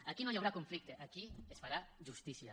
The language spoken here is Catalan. aquí no hi haurà conflicte aquí es farà justícia